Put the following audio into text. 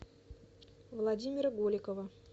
владимира голикова